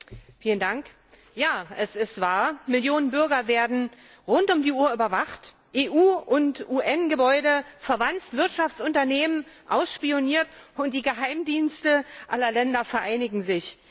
Herr Präsident! Ja, es ist wahr! Millionen Bürger werden rund um die Uhr überwacht, EU und UN Gebäude verwanzt, Wirtschaftsunternehmen ausspioniert und die Geheimdienste aller Länder vereinigen sich.